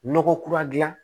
Nɔgɔ kura gilan